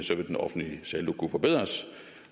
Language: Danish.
den offentlige saldo kunne forbedres